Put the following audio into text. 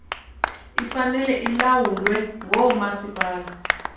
ifanele ilawulwe ngoomasipala